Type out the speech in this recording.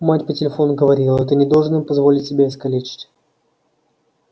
мать по телефону говорила ты не должен им позволить себя искалечить